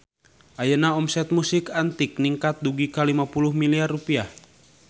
Ayeuna omset Musik Antik ningkat dugi ka 50 miliar rupiah